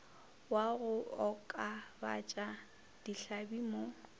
wa go okobatša dihlabi mo